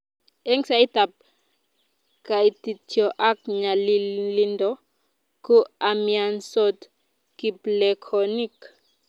eng' saitab kaitityo ak nyalilindo ko imiansot kiplekonik